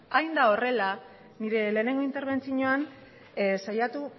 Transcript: hain da horrela nire lehenengo interbentzioan saiatu